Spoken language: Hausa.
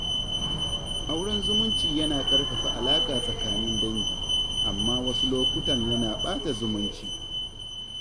Auren zumunci yana ƙarfafa alaƙa tsakanin dangi, amma wasu lokutan yana ɓata zumunci.